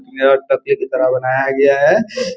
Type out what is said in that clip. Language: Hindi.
यह प्रतियोगिता बनाया गया है |